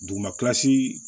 Dugumalasi